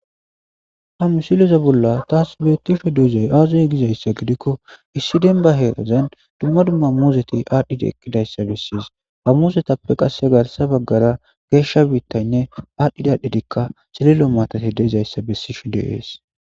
hamu sileza bolla taas beettisho deezay aazay gizayssa gidikko issi demba heerazan dumma dumma muzeti aadhdhidi ekkidayssa bessiis ha muzetappe qasse garsa baggara geeshsha biittaynne aadhdhidadhidikka silelo maatati deezayssa bessishu deees